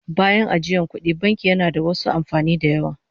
Bayan ajiyan kudi, banki yana da wasu amfanin da yawa